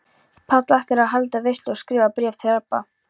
Páll ætlar að halda veislu og skrifar bréf til Rabba.